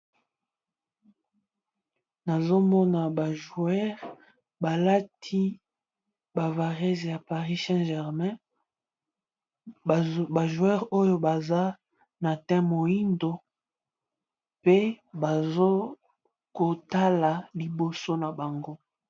Nazomona ba jouere balati bavarese ya paris saint germain, bajouere oyo baza na teint mohindo mpe bazokotala liboso na bango.